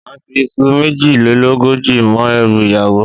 Máà fi iṣu méjìlélógójì mọ́ ẹrù ìyàwó